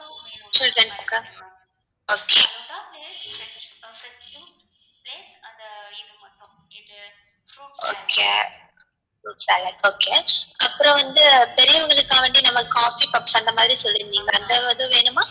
okay fruit salad okay அப்புறம் வந்து பெரியவங்களுக்காக வேண்டி நாம coffee puffs அந்த மாதிரி சொல்லிர்ந்திங்க அதும் வேணுமா?